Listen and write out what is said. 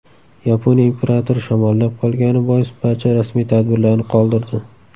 Yaponiya imperatori shamollab qolgani bois barcha rasmiy tadbirlarni qoldirdi.